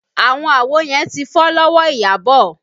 Àwọn àwo yẹn ti fọ́ lọ́wọ́ Iyabọ̀